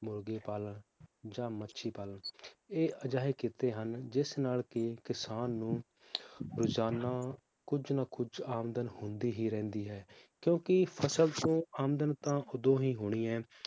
ਮੁਰਗੀ ਪਾਲਣ ਜਾਂ ਮੱਛੀ ਪਾਲਣ ਇਹ ਅਜਿਹੇ ਕੀਤੇ ਹਨ ਜਿਸ ਨਾਲ ਕੀ ਕਿਸਾਨ ਨੂੰ ਰੋਜ਼ਾਨਾ ਕੁਝ ਨਾ ਕੁਝ ਆਮਦਨ ਹੁੰਦੀ ਹੀ ਰਹਿੰਦੀ ਹੈ ਕਿਉਂਕਿ ਫਸਲ ਤੋਂ ਆਮਦਨ ਤਾਂ ਓਦੋਂ ਹੀ ਹੋਣੀ ਹੈ